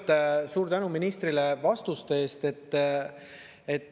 Kõigepealt suur tänu ministrile vastuste eest.